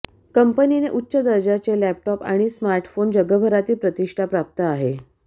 कंपनीने उच्च दर्जाचे लॅपटॉप आणि स्मार्टफोन जगभरातील प्रतिष्ठा प्राप्त आहे